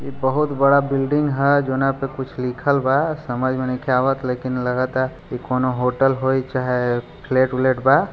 इ बहोत बड़ा बिल्डिंग हेय जोने पर कुछ लिखल बा समझ मे नयखे आवत लेकिन लगा ता अ कोनो होटल होय चाहे फ्लेट उलेट बा।